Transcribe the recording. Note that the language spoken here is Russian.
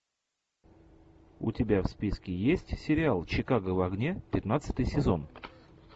у тебя в списке есть сериал чикаго в огне пятнадцатый сезон